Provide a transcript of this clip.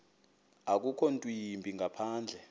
akukho ntwimbi ngaphandle